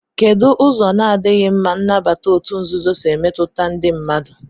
Kedụ ụzọ na-adịghị mma nnabata òtù nzuzo si emetụta ndị mmadụ?